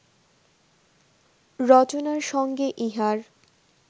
রচনার সঙ্গে ইহার